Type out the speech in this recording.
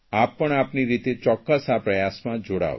આમ પણ આપની રીતે ચોક્કસ આ પ્રયાસમાં જોડાવ